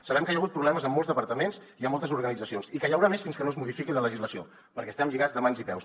sabem que hi ha hagut problemes en molts departaments i en moltes organitzacions i que hi haurà més fins que no es modifiqui la legislació perquè estem lligats de mans i peus